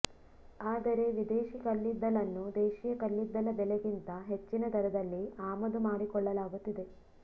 ಆದರೆ ವಿದೇಶೀ ಕಲ್ಲಿದ್ದಲನ್ನು ದೇಶೀಯ ಕಲ್ಲಿದ್ದಲ ಬೆಲೆಗಿಂತ ಹೆಚ್ಚಿನ ದರದಲ್ಲಿ ಆಮದು ಮಾಡಿಕೊಳ್ಳಲಾಗುತ್ತಿದೆ